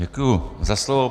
Děkuji za slovo.